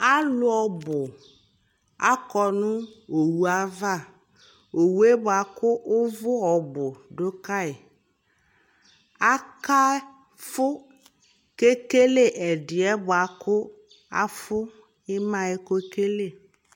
alʋ ɔbʋ akɔnʋ ɔwʋ aɣa, ɔwʋɛ bʋakʋ ʋvʋ ɔbʋ dʋ kayi, aka ƒʋ kʋ ɛkɛlɛ ɛdiɛ bʋakʋ aƒʋ ɛmaɛ kʋ ɛkɛlɛ